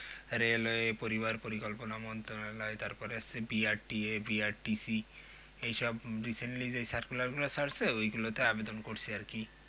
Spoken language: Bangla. railway পরিবার পরিকল্পনা মন্ত্রণালয় তারপরে C B R T A V R T C এই সব recently যে circular ছাড়ছে ওই গুলো তে আবেদন করছি আর কি